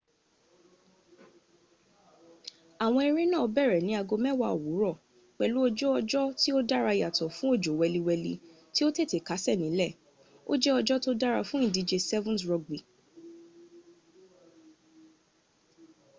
àwọn eré náà bẹ̀rẹ̀ ní aago mẹ́wàá òwúrọ̀ pẹ̀lú ojú ọjọ́ tí ó dára yàtọ̀ fún òjò wẹliwẹli tí ó tètè kásẹ̀ nílẹ̀ ó jẹ́ ọjọ́ tó dára fún ìdíje 7's rugby